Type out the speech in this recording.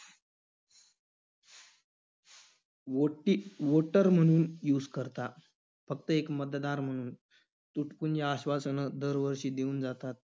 वोटी~ voter म्हणून use करता, फक्त एक मतदार म्हणून. तुटपुंजी आश्वासनं दरवर्षी देऊन जातात.